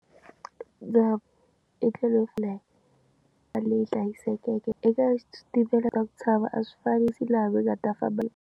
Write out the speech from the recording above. Ndza etlela a leyi hlayisekeke eka xitimela ta ku a swifanisi laha va nga ta famba.